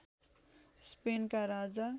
स्पेनका राजा